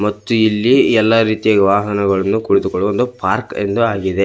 ಮತ್ತು ಇಲ್ಲಿ ಎಲ್ಲಾ ರೀತಿಯ ವಾಹನಗಳನ್ನು ಕೂತುಕೊಳ್ಳಲ್ಲು ಪಾರ್ಕ್ ಎಂದು ಆಗಿದೆ.